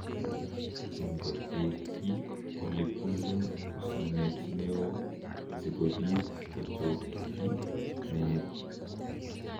Ingoteekyi ole bunu usoonet ne oo, si kobiit kochokkyi meet.